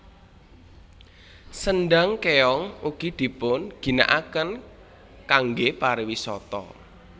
Sendhang Kéong ugi dipun ginakaken kangge pariwisata